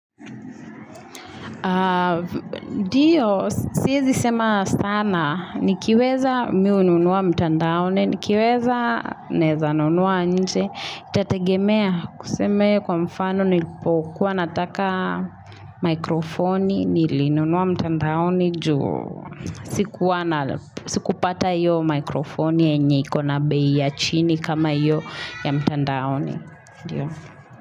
Ndiyo, siezi sema sana, nikiweza mimi hununua mtandaoni, nikiweza naeza nunua nje, itategemea tuseme kwa mfano nilipokuwa nataka mikrofoni, nilinunua mtandaoni juu, sikuwa na, sikupata hiyo mikrofoni yenye ikona bei ya chini kama hiyo ya mtandaoni.